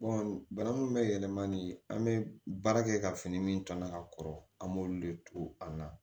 bana min bɛ yɛlɛma ni an bɛ baara kɛ ka fini min tɔɲɔn ka kɔrɔ an b'olu de to an na